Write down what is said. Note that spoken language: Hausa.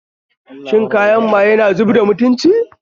Shan kayan maye na zubda mutunci